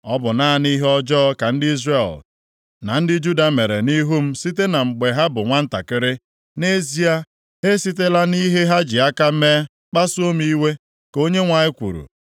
“Ọ bụ naanị ihe ọjọọ ka ndị Izrel na ndị Juda mere nʼihu m site na mgbe ha bụ nwantakịrị. Nʼezie, ha esitela nʼihe ha ji aka mee kpasuo m iwe, ka Onyenwe anyị kwuru.